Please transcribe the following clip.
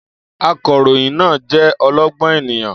Akọ̀ròyìn náà jẹ́ ọlọ́gbọ́n ènìyàn.